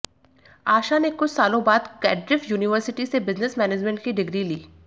आशा ने कुछ सालों बाद कैड्रिफ यूनिवर्सिटी से बिजनेस मैनजमेंट की डिग्री ली